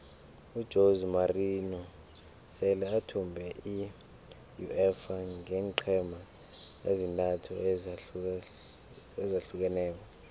ujose morinho sele athumbe iuefa ngeenqhema ezintathu ezahlukeneko